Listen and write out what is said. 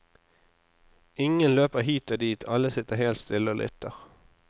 Ingen løper hit og dit, alle sitter helt stille og lytter.